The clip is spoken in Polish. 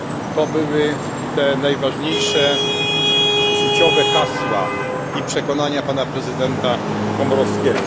Są to najważniejsze życiowe hasła i przekonania prezydenta Komorowskiego.